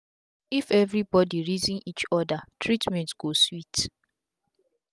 if everi bodi reason each oda treatment go sweet